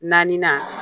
Naaninan